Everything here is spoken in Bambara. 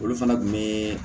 Olu fana kun be